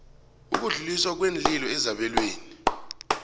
ukudluliswa kweenlilo ezabelweni